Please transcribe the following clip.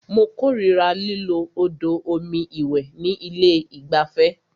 Mó kòrira lílo odò omi ìwẹ̀ ní ilé ìgbafẹ́.